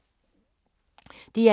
DR1